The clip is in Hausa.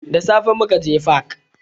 Da safe mukaje fak